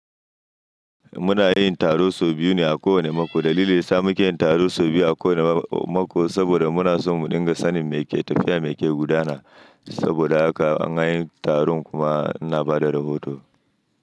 Muna yin taro sau biyu ne a kowane mako. Dalilin sa muke yin taro sau biyu a kowane mako, saboda muna so mu dinga sanin meke tafiya, meke gudana. Saboda haka in an yi taron kuma ina bada rahoto.